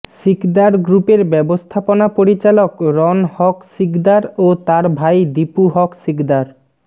সিকদার গ্রুপের ব্যবস্থাপনা পরিচালক রন হক সিকদার ও তার ভাই দিপু হক সিকদার